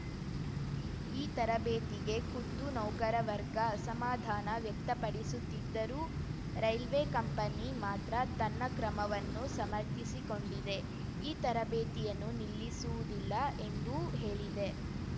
ಈ ತರಬೇತಿಗೆ ಖುದ್ದು ನೌಕರ ವರ್ಗ ಅಸಮಾಧಾನ ವ್ಯಕ್ತಪಡಿಸುತ್ತಿದ್ದರೂ ರೈಲ್ವೆ ಕಂಪನಿ ಮಾತ್ರ ತನ್ನ ಕ್ರಮವನ್ನು ಸಮರ್ಥಿಸಿಕೊಂಡಿದೆ ಈ ತರಬೇತಿಯನ್ನು ನಿಲ್ಲಿಸುವುದಿಲ್ಲ ಎಂದೂ ಹೇಳಿದೆ